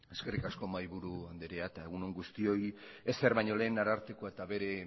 eskerrik asko mahaiburu anderea eta egun on guztioi ezer baino lehen arartekoa eta bere